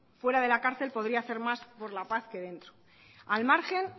fuera de la cárcel podría hacer más por la paz que dentro al margen